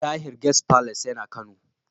Tahir Guest Palace yana Kano.